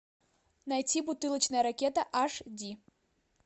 найти бутылочная ракета аш ди